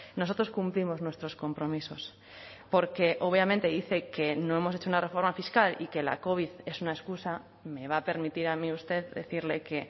nosotros cumplimos nuestros compromisos porque obviamente dice que no hemos hecho una reforma fiscal y que la covid es una excusa me va a permitir a mí usted decirle que